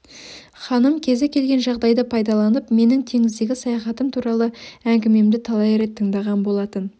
ханым кезі келген жағдайды пайдаланып менің теңіздегі саяхатым туралы әңгімемді талай рет тыңдаған болатын